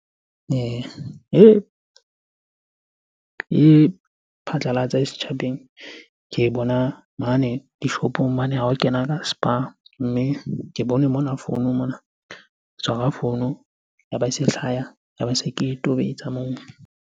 Ee, e phatlalatse e setjhabeng, ke bona mane dishopong mane ha o kena ka Spar. Mme ke bone mona founung mona, ke tshwara founu. Ya ba e se hlaya, ya ba se ke e tobetsa moo.